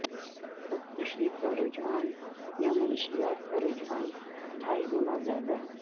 خودکشی کا رجحان یا منشیات کا رجحان ڈھائی گنا زیادہ